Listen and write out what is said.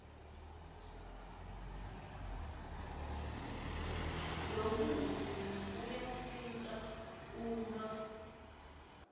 lomutsi uyasita uma